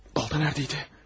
Balta nədə idi?